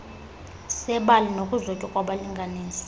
sebali nokuzotywa kwabalinganiswa